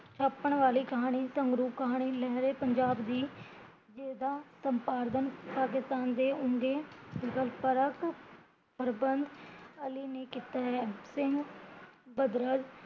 ਛਾਪਣ ਵਾਲੀ ਕਹਾਣੀ, ਸਗਰੂ ਕਹਾਣੀ ਤੇ ਲਹਿਰੇ ਪੰਜਾਬ ਦੀ ਜਿਹਦਾ ਸਮਪਾਰਧਣ ਪਾਕਿਸਤਾਨ ਦੇ ਆਉਂਦੇ ਅਲੀ ਨੇ ਕੀਤਾ ਹੈ ਸਿੰਘ ਬਦਰਜ